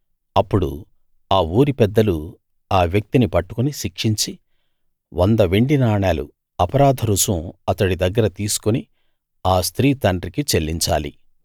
అప్పుడు ఆ ఊరి పెద్దలు ఆ వ్యక్తిని పట్టుకుని శిక్షించి 100 వెండి నాణాలు అపరాధ రుసుం అతడి దగ్గర తీసుకుని ఆ స్త్రీ తండ్రికి చెల్లించాలి